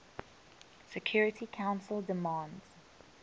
security council demands